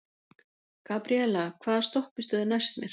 Gabriela, hvaða stoppistöð er næst mér?